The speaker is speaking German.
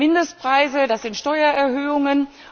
Mindestpreise, das sind Steuererhöhungen.